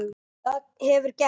Það hefur gerst.